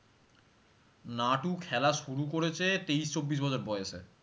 নাটু খেলা শুরু করেছে তেইশ, চব্বিশ বছর বয়সে